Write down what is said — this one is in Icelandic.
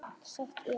Sagt er